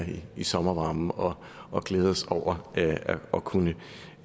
i sommervarmen og og glæde os over at kunne